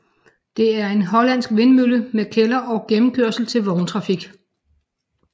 Det er en hollandsk vindmølle med kælder og gennemkørsel til vogntrafik